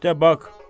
İşdə bax.